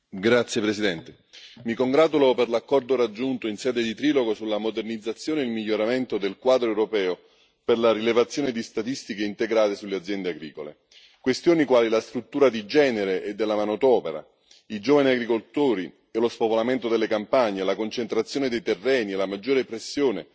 Signor Presidente, onorevoli colleghi, mi congratulo per l'accordo raggiunto in sede di trilogo sulla modernizzazione e il miglioramento del quadro europeo per la rilevazione di statistiche integrate sulle aziende agricole. Questioni quali la struttura di genere e della manodopera, i giovani agricoltori e lo spopolamento delle campagne, la concentrazione dei terreni e la maggiore pressione